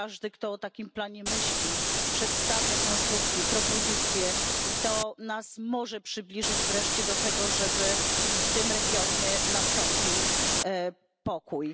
Każdy, kto o takim planie myśli i przedstawia konstrukcje, propozycje, może nas przybliżyć wreszcie do tego, żeby w tym regionie nastąpił pokój.